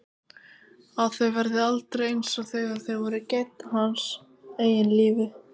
Að þau verði aldrei einsog þegar þau voru gædd hans eigin lífi.